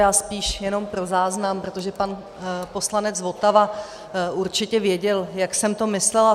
Já spíše jenom pro záznam, protože pan poslanec Votava určitě věděl, jak jsem to myslela.